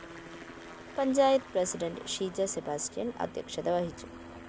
panchayat president Sheeja Sebastian‍ അധ്യക്ഷത വഹിച്ചു